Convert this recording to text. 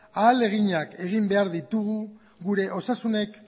ahaleginak egin behar ditugu gure osasun